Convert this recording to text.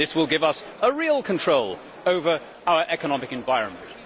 This will give us a real control over our economic environment'.